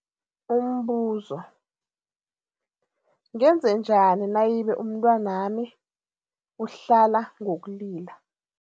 Umbuzo, ngenzanjani nayibe umntwanami uhlala ngokulila?